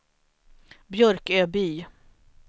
Björköby